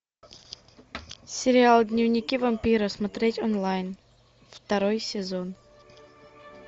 сериал дневники вампира смотреть онлайн второй сезон